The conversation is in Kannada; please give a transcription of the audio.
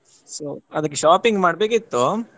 So ಅದಕ್ಕೆ shopping ಮಾಡ್ಬೇಕಿತ್ತು.